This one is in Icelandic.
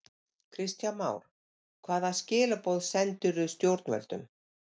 Kristján Már: Hvaða skilaboð sendirðu stjórnvöldum?